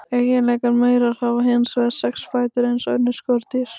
Eiginlegir maurar hafa hins vegar sex fætur eins og önnur skordýr.